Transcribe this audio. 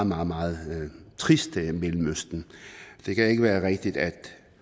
meget meget trist mellemøsten det kan ikke være rigtigt at